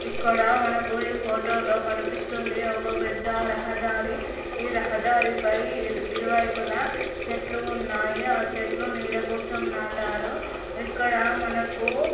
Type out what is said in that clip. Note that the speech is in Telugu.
అక్కడ మనకు ఇ ఫోటో లో కనిపిస్తుంది ఒక పెద్ద రహదారి ఈ రహదారిపై ఇరు వైపులా చెట్లు ఉన్నాయి. అ చెట్లు నీడ కోసం నాటారు. ఇక్కడ మనకు--